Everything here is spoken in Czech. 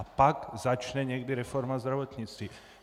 A pak začne někdy reforma zdravotnictví.